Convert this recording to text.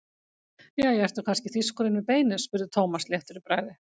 Jæja, ertu kannski þýskur inni við beinið? spurði Thomas léttur í bragði.